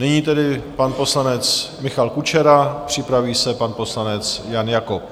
Nyní tedy pan poslanec Michal Kučera, připraví se pan poslanec Jan Jakob.